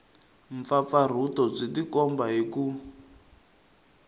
mpfapfarhuto byi tikomba hi ku